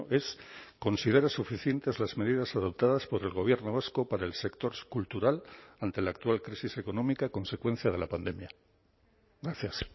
es considera suficientes las medidas adoptadas por el gobierno vasco para el sector cultural ante la actual crisis económica consecuencia de la pandemia gracias